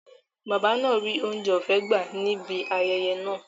Bàbá náà ríi oúnjẹ ọ̀fẹ́ gbà á ní ibi ayẹyẹ náà